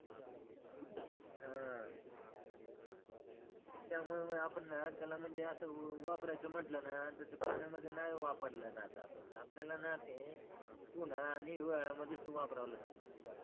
त्यामुळे न आपण ना त्यांना म्हणजे असं वापरायचं म्हटलं ना तर ते पाण्यामध्ये नाय वापरलं जात आपण आपल्याला ना ते उन्हाला आणि हिवाळ्या मध्ये वापरायला लागते चप्पल